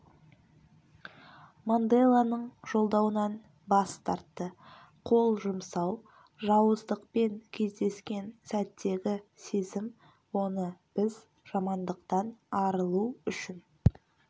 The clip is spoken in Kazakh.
манделаның жолдауынан бас тартты қол жұмсау жауыздықпен кездескен сәттегі сезім оны біз жамандықтан арылу үшін